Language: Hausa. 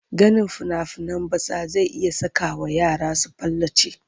Ganin fina-finan batsa zai iya sakawa yara su palace.